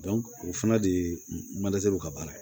o fana de ka baara ye